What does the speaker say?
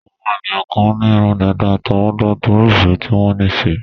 Àwọn ènìyàn kan ní irun dàda àtọwọ́dá, torí ìfẹ́ tí wọ́n ní síi.